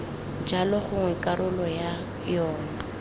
jalo gongwe karolo ya yona